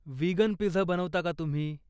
Vegan pizza बनवता का तुम्ही?